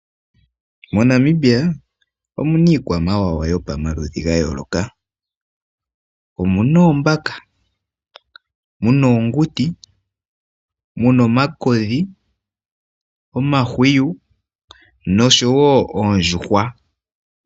MoNamibia omuna iikwamawawa gopamaludhi gayooloka, omuna oombaka, muna oonguti, muna omakodhi, omahwiyu noshowo oondjuhwa